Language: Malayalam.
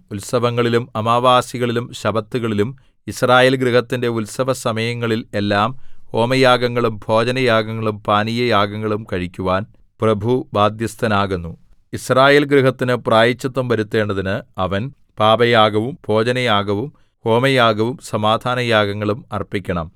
ഉത്സവങ്ങളിലും അമാവാസികളിലും ശബ്ബത്തുകളിലും യിസ്രായേൽ ഗൃഹത്തിന്റെ ഉത്സവസമയങ്ങളിൽ എല്ലാം ഹോമയാഗങ്ങളും ഭോജനയാഗങ്ങളും പാനീയയാഗങ്ങളും കഴിക്കുവാൻ പ്രഭു ബാദ്ധ്യസ്ഥനാകുന്നു യിസ്രായേൽ ഗൃഹത്തിനു പ്രായശ്ചിത്തം വരുത്തേണ്ടതിന് അവൻ പാപയാഗവും ഭോജനയാഗവും ഹോമയാഗവും സമാധാനയാഗങ്ങളും അർപ്പിക്കണം